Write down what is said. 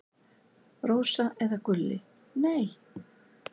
Rósa eða Gulli: Nei.